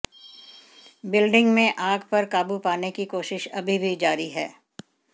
building में आग पर काबू पाने की कोशिश अभी भी जारी है